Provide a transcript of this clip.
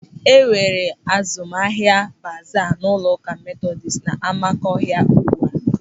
E nwere azụmahịa baaza n'ụlọụka Metodis n'Amakọhia ugbu a.